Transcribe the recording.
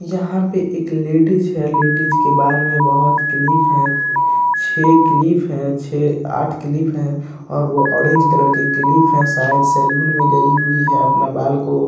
यहां पर एक लदिस्स है। लदिस्स के बाल में बहुत क्लिप है। छै क्लिप है। छै अट क्लिप है। और वह ऑरेंज-कलर के क्लिप है। शायद सलोन में गई हुई है। अपना बाल को--